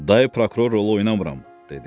Dayı prokuror rolu oynamıram, dedi.